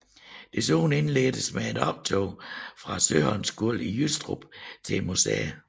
Desuden indledtes med et optog fra Søholmskolen i Jystrup til museet